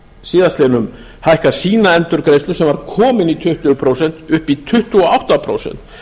síðastliðnum hækkað sína endurgreiðslu sem var komin í tuttugu prósent upp í tuttugu og átta prósent